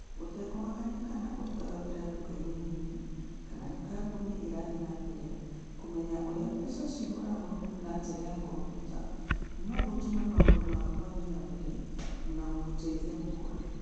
Gũtekũmakania kana ũrutaga wĩra nduka-inĩ nini kana nĩ kambuni ĩrathiĩ na mbere, kũmenya ũrĩa mbeca ciũragwo na njĩra ya kompiuta no gũtũme maũndũ maku mathiĩ na mbere na gũgũteithia gũkũra.